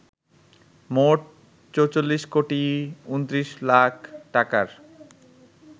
মোট ৪৪ কোটি ২৯ লাখ টাকার